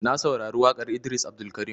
Na saurari waƙar Idris Abdulkarim.